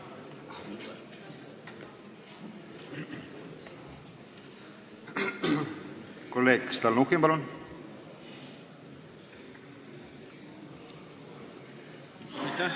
Kolleeg Stalnuhhin, palun!